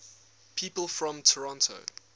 people from toronto